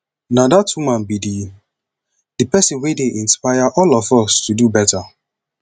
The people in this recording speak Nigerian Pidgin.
na dat woman be the the person wey dey inspire all of us to do beta